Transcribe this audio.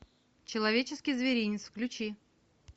человеческий зверинец включи